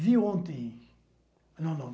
Vi ontem... Não.